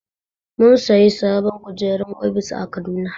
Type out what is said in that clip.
Mun sayi sabon kujerar ofis a Kaduna.